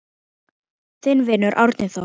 Þinn vinur, Árni Þór.